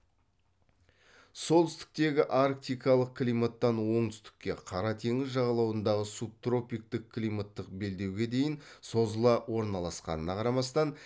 солтүстіктегі арктикалық климаттан оңтүстікке қара теңіз жағалауындағы субтропиктік климаттық белдеуге дейін созыла орналасқанына қарамастан